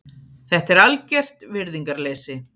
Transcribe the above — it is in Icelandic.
Þetta er algert virðingarleysi.